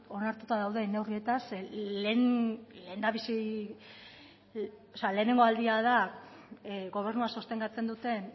onartuta dauden neurrietaz lehenengo aldia da gobernua sostengatzen duten